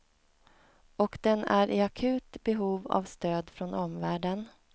Och den är i akut behov av stöd från omvärlden.